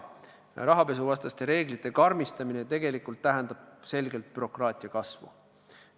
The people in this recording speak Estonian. Rahapesuvastaste reeglite karmistamine tähendab tegelikult selget bürokraatia kasvu.